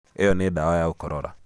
ĩno nĩ ndawa ya gũkorora.